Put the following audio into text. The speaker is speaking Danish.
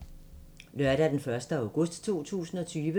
Lørdag d. 1. august 2020